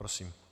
Prosím.